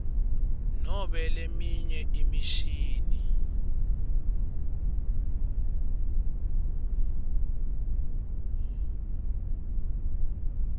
nobe leminye imishini